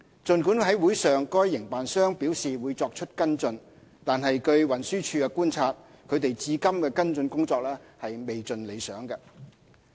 儘管會上該營辦商表示會作出跟進，但據運輸署觀察，他們至今的跟進工作未盡理想。